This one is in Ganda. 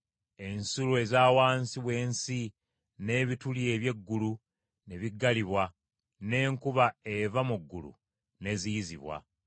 ensulo eza wansi w’ensi n’ebituli eby’eggulu ne biggalibwa, n’enkuba eva mu ggulu n’eziyizibwa,